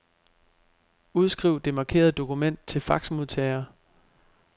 Udskriv det markerede dokument til faxmodtager.